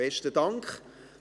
Besten Dank.